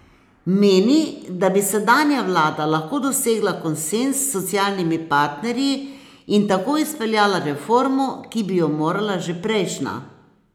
Meni, da bi sedanja vlada lahko dosegla konsenz s socialnimi partnerji in tako izpeljala reformo, ki bi jo morala že prejšnja.